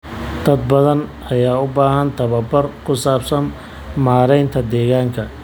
Dad badan ayaa u baahan tababar ku saabsan maareynta deegaanka.